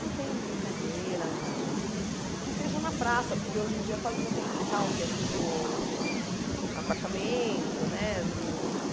Não tem brincadeira na, que seja na praça, porque hoje em dia quase não tem quintal, que é tudo apartamento né não.